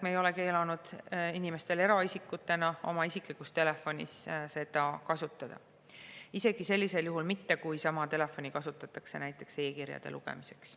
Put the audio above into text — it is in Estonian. Me ei ole keelanud inimestel eraisikutena oma isiklikus telefonis seda kasutada, isegi sellisel juhul mitte, kui sama telefoni kasutatakse näiteks e-kirjade lugemiseks.